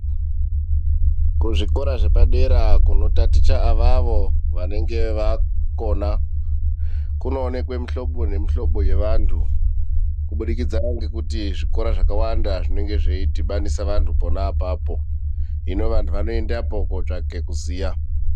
Kuzvikora zvepadera kunotaticha avavo vanenge vakona kunoonekwa mihlobo nemihlobo yevantu kubudikidza ngekuti zvikora zvakawanda zvInenge zveidhibanisa vantu pona apapo. Hino vantu vanoendapo kotsvake kuziya.